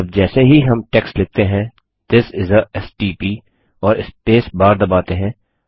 अब जैसे ही हम टेक्स्ट लिखते हैं थिस इस आ एसटीपी और स्पेसबार दबाते हैं